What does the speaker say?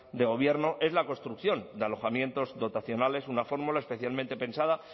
de gobierno es la construcción de alojamientos dotacionales una fórmula especialmente pensada